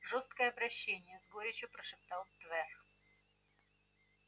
жёстокое обращение с горечью прошептал твер